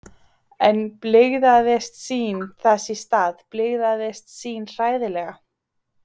En blygðaðist sín þess í stað, blygðaðist sín hræðilega.